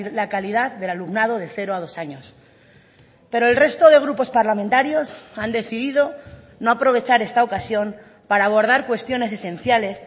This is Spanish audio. la calidad del alumnado de cero a dos años pero el resto de grupos parlamentarios han decidido no aprovechar esta ocasión para abordar cuestiones esenciales